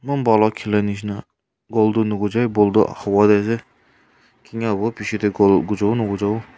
eman bhan ke khela nisna goal tu kining ka hobo goal gusa bona nagusa bo--